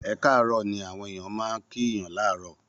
Ẹ káàárọ̀ ni àwọn ènìyàn máa ń kíyaàn láàárọ̀.